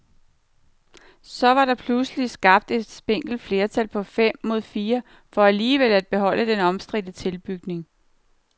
Så var der pludselig skabt et spinkelt flertal på fem mod fire for alligevel at beholde den omstridte tilbygning.